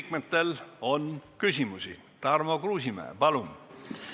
Nagu ma ütlesin, eriolukord annab tõesti võimaluse kehtestada kusagil viibimise keeld ja muud liikumispiirangud.